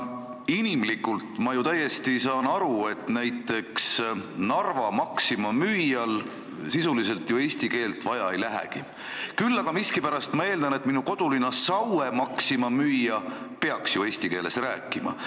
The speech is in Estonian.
Inimlikult ma saan aru, et Narva Maxima müüjal sisuliselt eesti keelt vaja ei lähegi, küll aga ma miskipärast eeldan, et minu kodulinna Saue Maxima müüja peaks oskama eesti keeles rääkida.